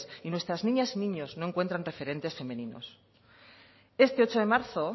y nuestras niñas y niños no encuentran referentes femeninos este ocho de marzo